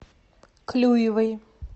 клюевой